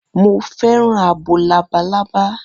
Mo fẹ́ràn abo labalábá.